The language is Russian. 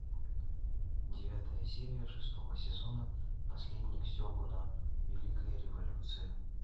девятая серия шестого сезона наследник сегуна великая революция